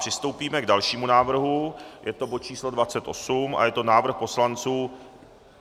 Přistoupíme k dalšímu návrhu, je to bod číslo 28 a je to návrh poslanců...